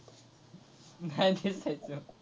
नाही दिसायचं.